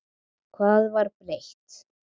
Hvað var breytt?